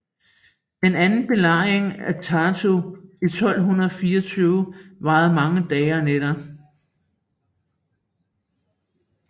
Den anden belejring af Tartu i 1224 varede mange dage og nætter